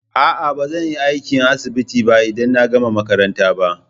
A'a, ba zan yi aiki a asibiti ba idan na gama makaranta ba.